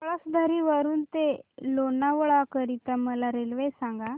पळसधरी वरून ते लोणावळा करीता मला रेल्वे सांगा